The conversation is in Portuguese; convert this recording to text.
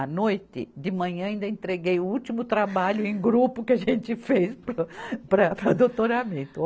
À noite, de manhã, ainda entreguei o último trabalho em grupo que a gente fez para, para o doutoramento.